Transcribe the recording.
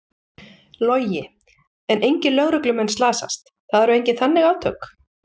Logi: En engir lögreglumenn slasast, það eru engin þannig átök?